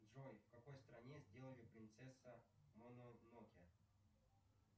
джой в какой стране сделали принцесса мононоке